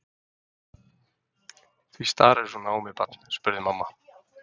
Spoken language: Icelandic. Því starirðu svona á mig barn? spurði mamma.